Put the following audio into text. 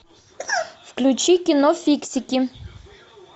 включи кино фиксики